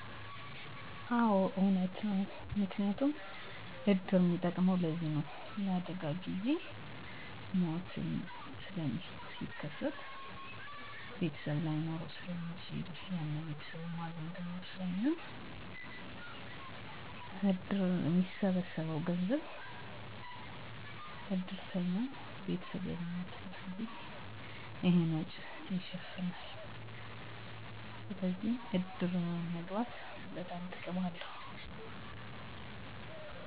የገንዘብ ድጋፍ: እድር በአባላት ዘንድ የተከማቸ የገንዘብ ፈንድ አለው። አባል ቤተሰብ አደጋ ሲያጋጥመው (ለምሳሌ ሞት)፣ ይህ ገንዘብ ለቀብር ወጪዎች፣ ለምግብ እና ለሌሎች አስፈላጊ ነገሮች ድጋፍ ይውላል። ይህም ድንገተኛ አደጋ በሚከሰትበት ጊዜ ቤተሰብ ላይ የሚወድቀውን የፋይናንስ ጫና በእጅጉ ይቀንሳል። የቁሳቁስ ድጋፍ: ከገንዘብ በተጨማሪ እድር ለቀብር ሥነ ሥርዓት የሚያስፈልጉ ቁሳቁሶችን (ድንኳን፣ ወንበር፣ የቡና እቃዎች፣ የመገልገያ ዕቃዎች) ሊያቀርብ ይችላል። ይህ የቤተሰብን ወጪ ይቀንሳል። የጊዜና የሰው ኃይል ቁጠባ: የቀብር ሥነ ሥርዓት ብዙ ጊዜና የሰው ኃይል ይጠይቃል። እድር እነዚህን ተግባራት በማስተባበር የቤተሰብን ሸክም ይቀንሳል፣ ይህም ሀዘንተኞች ለሀዘናቸው ጊዜ እንዲያገኙ ያስችላል።